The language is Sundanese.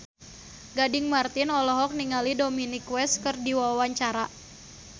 Gading Marten olohok ningali Dominic West keur diwawancara